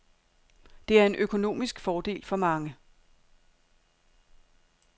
Det er en økonomisk fordel for mange.